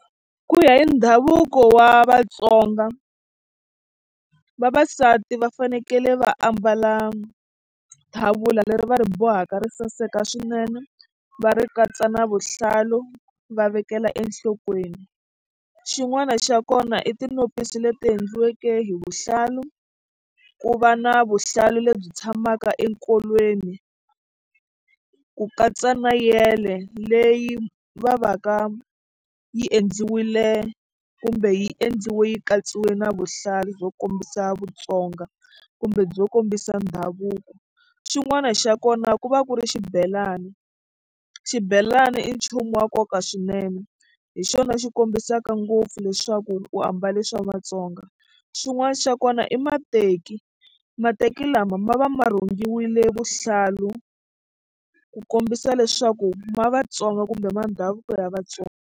Ku ya hi ndhavuko wa Vatsonga vavasati va fanekele va ambala tlhavula leri va ri bohaka ri saseka swinene va ri katsa na vuhlalu va vekela enhlokweni xin'wana xa kona i tinopisi leti endliweke hi vuhlalu ku va na vuhlalu lebyi tshamaka enkolweni ku katsa na yele leyi va va ka yi endliwile kumbe yi endliwe yi katsiwe na vuhlalu byo kombisa vutsonga kumbe byo kombisa ndhavuko xin'wana xa kona ku va ku ri xibelani xibelani i nchumu wa nkoka swinene hi xona xi kombisaka ngopfu leswaku u ambale swa Vatsonga xin'wana xa kona i mateki mateki lama ma va ma rhungiwile vuhlalu ku kombisa leswaku ma Vatsonga kumbe ma ndhavuko ya Vatsonga.